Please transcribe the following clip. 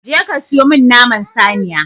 Je ka siyo min naman saniya!